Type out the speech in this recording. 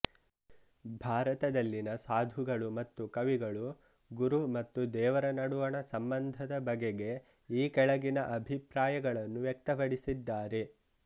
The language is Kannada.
ಭಾರತದಲ್ಲಿನ ಸಾಧುಗಳು ಮತ್ತು ಕವಿಗಳು ಗುರು ಮತ್ತು ದೇವರ ನಡುವಣ ಸಂಬಂಧದ ಬಗೆಗೆ ಈ ಕೆಳಗಿನ ಅಭಿಪ್ರಾಯಗಳನ್ನು ವ್ಯಕ್ತಪಡಿಸಿದ್ದಾರೆ